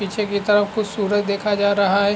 पीछे की तरफ कुछ सूरज देखा जा रहा है।